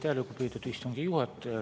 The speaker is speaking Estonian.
Aitäh, lugupeetud istungi juhataja!